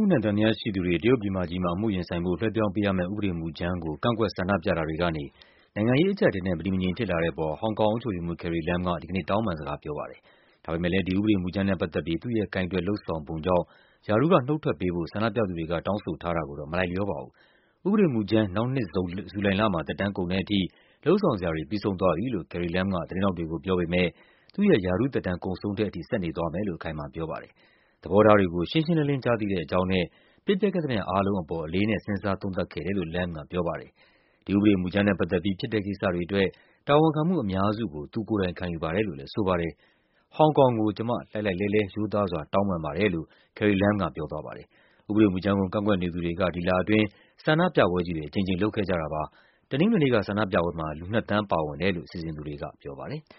ှုနဲ့ သံသယရှိသူတွေ တရုတ်ပြည်မကြီးမှာ အမှုရင်ဆိုင်ဖို့ လွှဲပြောင်းပေးရမယ့် ဥပဒေမူူကြမ်းကို ကန့်ကွက် ဆန္ဒပြတာတွေကနေ နိုင်ငံရေးအကျပ်အတည်းနဲ့ မတည်မငြိမ်ဖြစ်လာတဲ့ပေါ် ဟောင်ကောင်အုပ်ချုပ်ရေးမှူး Carrie Lam က ဒီကနေ့ တောင်းပန်စကား ပြောပါတယ်။ ဒါပေမယ့်လည်း ဒီဥပဒေမူကြမ်းနဲ့ ပတ်သက်ပြီး သူ့ရဲ့ကိုင်တွယ် လုပ်ဆောင်ပုံကြောင့် ရာထူးက နုတ်ထွက်ပေးဖို့ ဆန္ဒပြသူတွေက တောင်းဆိုထားတာကိုတော့ မလိုက်လျောပါဘူး။ ဥပဒေမူူကြမ်း နောက်နှစ် ဇူလိုင်လမှာ သက်တမ်းကုန်တဲ့အထိ လုပ်ဆောင်စရာတွေ ပြီးဆုံးသွားပြီလို့ Carrie Lam က သတင်း ထောက်တွေကို ပြောပေမယ့် သူ့ရဲ့ ရာထူးသက်တမ်း ကုန်ဆုံးတဲ့အထိ ဆက်နေသွားမယ်လို့ အခိုင်အမာ ပြောပါတယ်။ သဘောထားတွေကို ရှင်းရှင်းလင်းလင်း ကြားသိတဲ့အကြောင်းနဲ့ ဖြစ်ပျက်ခဲ့သမျှ အားလုံးအပေါ် အလေးအနက် စဉ်းစားသုံးသပ်ခဲ့တယ်လို့ Lam က ပြောပါတယ်။ ဒီဥပဒေမူကြမ်းနဲ့ ပတ်သက်ပြီး ဖြစ်တဲ့ကိစ္စတွေအတွက် တာဝန်ခံမှု အများစုကို သူကိုယ်တိုင်ခံယူပါတယ်လို့လည်း ဆိုပါတယ်။ “ဟောင်ကောင်ကို ကျမ လှိုက်လှိုက်လှဲလှဲ ရိုးသားစွာ တောင်းပန်ပါတယ်။” လို့ Carrie Lam က ပြောသွားပါတယ်။ ဥပဒေမူကြမ်းကို ကန့်ကွက်နေသူတွေက ဒီလအတွင်း ဆန္ဒပြပွဲကြီးတွေ အကြိမ်ကြိမ် လုပ်ခဲ့ကြတာပါ။ တနင်္ဂနွေနေ့က ဆန္ဒပြပွဲမှာ လူ နှစ်သန်း ပါဝင်တယ်လို့ စီစဉ်သူတွေက ပြောပါတယ်။